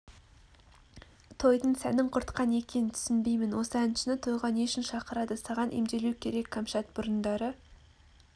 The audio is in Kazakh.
тойдың сәнін құртқан екен түсінбеймін осы әншіні тойға не үшін шақырады саған емделу керек кәмшат бұрындары